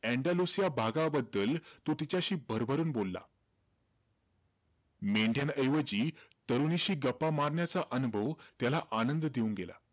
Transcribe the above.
Andalusia भागाबद्दल तो तिच्याशी भरभरून बोलला. मेंढ्यांऐवजी तरुणीशी गप्पा मारण्याचा अनुभव त्याला आनंद देऊन गेला.